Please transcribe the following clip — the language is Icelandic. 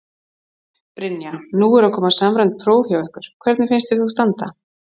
Brynja: Nú eru að koma samræmd próf hjá ykkur, hvernig finnst þér þú standa?